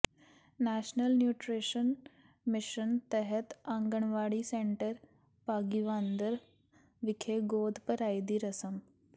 national nutrition mission ਤਹਿਤ anganwadi centre Bhagiwander ਵਿਖੇ ਗੋਦ ਭਰਾਈ ਦੀ ਰਸਮ